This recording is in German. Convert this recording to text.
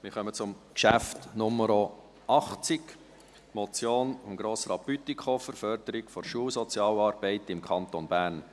Wir kommen zum Traktandum 80, einer Motion von Grossrat Bütikofer, «Förderung der Schulsozialarbeit im Kanton Bern».